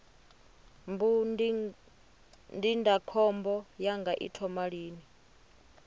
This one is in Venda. mbu ndindakhombo yanga i thoma lini